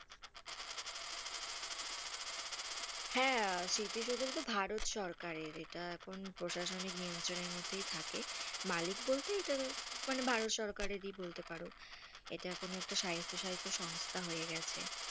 হেঁ, তো ভারত সরকারে ইটা এখন প্রশাসনিক নিয়ন্ত্রণের মধ্যে থাকে, মালিক বলতে এটার ভারত সরকারেরই বলতে পারো, ইটা এখন একটা সাহিত্য সংস্থা হয়ে গেছে,